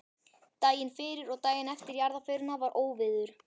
Daginn fyrir og daginn eftir jarðarförina var óveður.